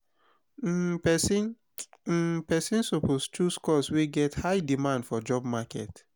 um persin um persin suppose choose course wey get high demand for job market